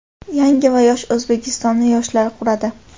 Yangi va yosh O‘zbekistonni yoshlar quradi!.